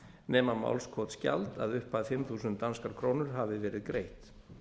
nema málskotsgjald að upphæð fimm þúsund danskar krónur hafi verið greitt